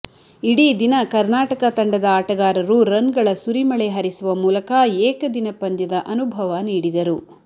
ಇಡೀ ದಿನ ಕರ್ನಾಟಕ ತಂಡದ ಆಟಗಾರರು ರನ್ಗಳ ಸುರಿಮಳೆ ಹರಿಸುವ ಮೂಲಕ ಏಕದಿನ ಪಂದ್ಯದ ಅನುಭವ ನೀಡಿದರು